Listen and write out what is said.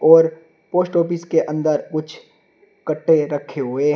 और post office के अंदर कुछ कट्टे रखे हुए हैं।